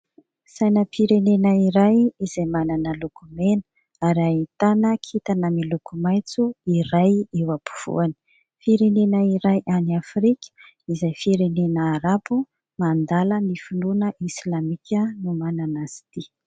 Sainam-pirenena iray izay manana loko mena ary ahitana kintana miloko maitso iray eo ampovoany. Firenena iray any afrika izay firenena Arabo mandala ny finoana Islamika no manana izy ity.